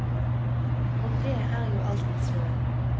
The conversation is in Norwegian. Og det er jo alltids noe.